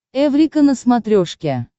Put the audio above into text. эврика на смотрешке